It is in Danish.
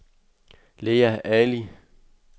Lea Ali